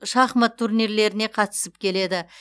шахмат турнирлеріне қатысып келеді